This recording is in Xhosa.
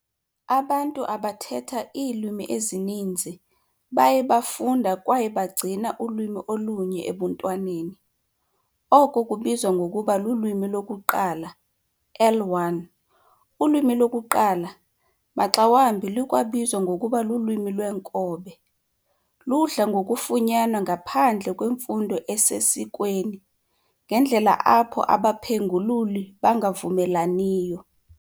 Abantu abathetha iilwimi ezininzi baye bafunda kwaye bagcina ulwimi olunye ebuntwaneni, oko kubizwa ngokuba lulwimi lokuqala, L1. Ulwimi lokuqala maxa wambi lukwabizwa ngokuba lulwimi lweenkobe. Ludla ngokufunyanwa ngaphandle kwemfundo esesikweni, ngeendlela apho abaphengululi bangavumelaniyo.